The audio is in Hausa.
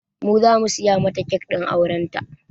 Mu zamu siya mata kek ɗin auren ta